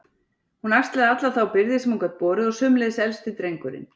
Hún axlaði alla þá byrði sem hún gat borið og sömuleiðis elsti drengurinn.